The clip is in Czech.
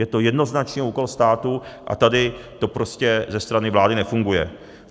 Je to jednoznačně úkol státu a tady to prostě ze strany vlády nefunguje.